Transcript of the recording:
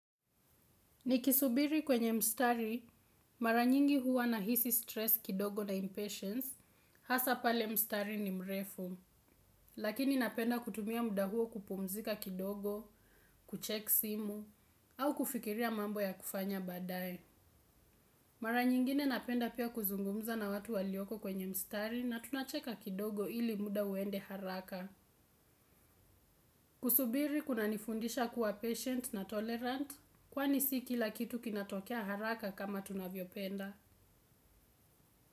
Nikisubiri kwenye mstari, mara nyingi huwa nahisi stress kidogo na impatience, hasa pale mstari ni mrefu, lakini napenda kutumia muda huo kupumzika kidogo, kucheck simu, au kufikiria mambo ya kufanya baadaye. Mara nyingine napenda pia kuzungumza na watu walioko kwenye mstari na tunacheka kidogo ili muda uende haraka. Kusubiri kunanifundisha kuwa patient na tolerant. Kwani si kila kitu kinatokea haraka kama tunavyopenda.